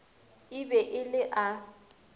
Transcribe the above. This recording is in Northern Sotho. e be e le a